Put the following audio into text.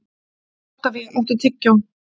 Oktavía, áttu tyggjó?